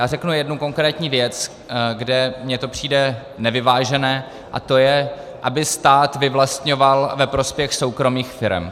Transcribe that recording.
Já řeknu jednu konkrétní věc, kde mi to přijde nevyvážené, a to je, aby stát vyvlastňoval ve prospěch soukromých firem.